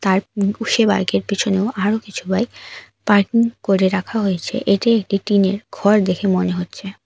আর বাইকের পিছনেও আরো কিছু বাইক পার্কিং করে রাখা হয়েছে এটি একটি টিনের ঘর দেখে মনে হচ্ছে।